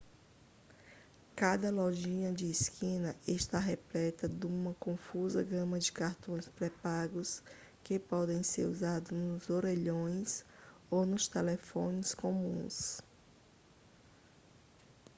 cada lojinha de esquina está repleta duma confusa gama de cartões pré-pagos que podem ser usados nos orelhões ou nos telefones comuns